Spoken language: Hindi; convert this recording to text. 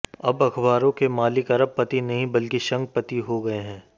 अब अखबारों के मालिक अरब पति नहीं बल्कि शंख पति हो गए हैं